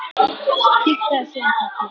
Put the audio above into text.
Kinkaði síðan kolli.